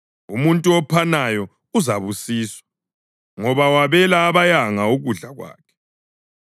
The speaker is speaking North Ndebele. Umuntu ophanayo uzabusiswa, ngoba wabela abayanga ukudla kwakhe.